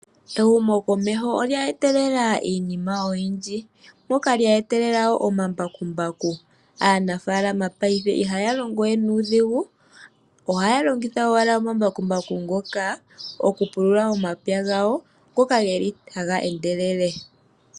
Ehumkomeho lya etelela iinima oyindji moka lya etelela wo omambakumbaku. Aanafaalama paife ihaya longo we nuudhigu ohaya longitha owala omambakumbaku ngoka okupulula omapya gawo ngoka geli haga endelele.